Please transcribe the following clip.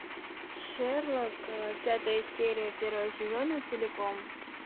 шерлок пятая серия первого сезона целиком